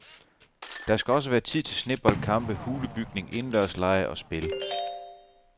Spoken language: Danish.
Der skal også være tid til sneboldkampe, hulebygning, indendørslege og spil.